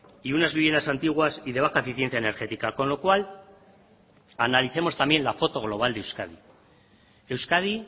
y unas viviendas antiguas y de baja eficiencia energética con lo cual analicemos también la foto global de euskadi euskadi